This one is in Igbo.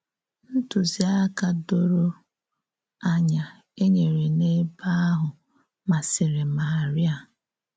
Ntụziaka doro ànyà e nyere n’ebe ahụ masịrị Maria.